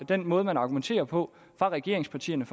den måde man argumenterer på fra regeringspartiernes